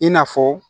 I n'a fɔ